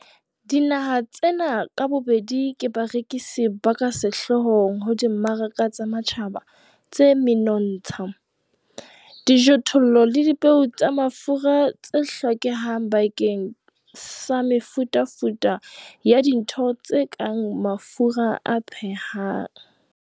Dinaha tsena ka bobedi ke barekisi ba ka sehloohong ho dimmaraka tsa matjhaba tsa menontsha, dijothollo le dipeo tsa mafura tse hlokehang bakeng sa mefutafuta ya dintho tse kang mafura a phehang.